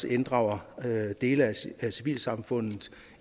inddrager dele af civilsamfundet